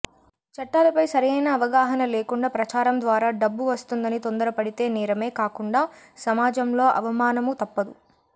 చట్టాలపై సరియైన అవగాహన లేకుండా ప్రచారం ద్వారా డబ్బు వస్తుందని తొందరపడితే నేరమే కాకుండా సమాజంలో అవమానమూ తప్పుదు